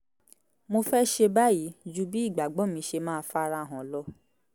mo fẹ́ ṣe báyìí ju bí ìgbàgbọ́ mi ṣe máa fara hàn lọ